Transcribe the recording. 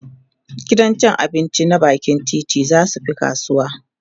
gidan abinci na bakin titi zasu Fi kasuwa